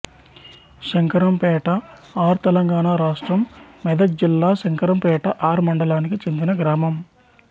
Shankarampet R Telangana రాష్ట్రం మెదక్ జిల్లాశంకరంపేట R మండలానికి చెందిన గ్రామం